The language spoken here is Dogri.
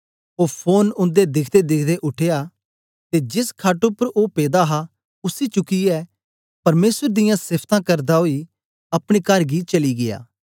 ओ फोरन उन्दे दिख्देदिख्दे उठया ते जेस खट उपर ओ पेदा हा उसी चुकियै परमेसर दियां सेफ्तां करदा ओई अपने कर गी चली गीया